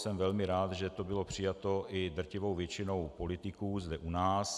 Jsem velmi rád, že to bylo přijato i drtivou většinou politiků zde u nás.